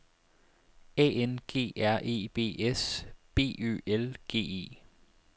A N G R E B S B Ø L G E